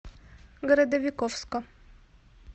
городовиковска